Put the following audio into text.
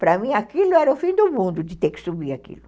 Para mim, aquilo era o fim do mundo, de ter que subir aquilo.